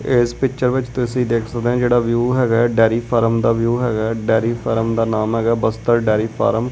ਏਸ ਪਿਚਰ ਵਿੱਚ ਤੁਸੀ ਦੇਖ ਸਕਦੇ ਆ ਜਿਹੜਾ ਵਿਊ ਹੈਗਾ ਡੈਰੀ ਫਾਰਮ ਦਾ ਵਿਊ ਹੈਗਾ ਡੈਰੀ ਫਾਰਮ ਦਾ ਨਾਮ ਹੈਗਾ ਬਸਤਰ ਡੈਰੀ ਫਾਰਮ --